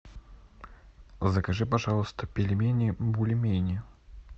закажи пожалуйста пельмени бульмени